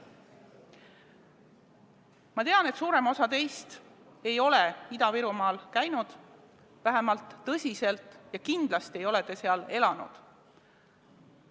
Ma tean, et suurem osa teist ei ole Ida-Virumaal käinud, vähemalt põhjalikult mitte, ja kindlasti ei ole te seal elanud.